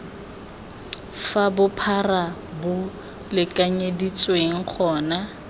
fa bophara bo lekanyeditsweng gona